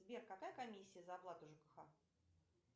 сбер какая комиссия за оплату жкх